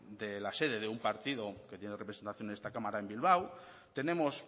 de la sede de un partido que tiene representación en esta cámara en bilbao tenemos